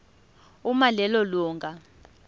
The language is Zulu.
uma lelo lunga